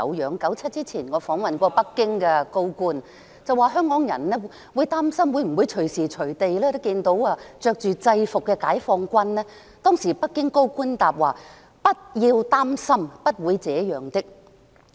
在1997年之前，我曾訪問北京的高官，跟他說香港人擔心會否隨時在街上看到穿着制服的解放軍，當時北京的高官答稱："不要擔心，不會這樣的。